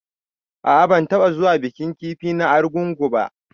A'a ban taba zuwa bikin kifi na argungu ba.